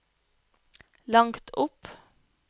langt opp